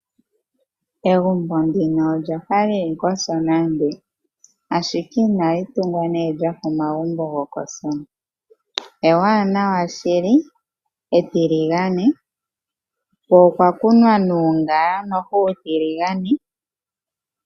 Egumbo ndino olya fa li li kOsona, ashike inali tungwa lya fa omagumbo gokOsona. Ewanawa shili, etiligane ko okwa kunwa nuungala uutiligane.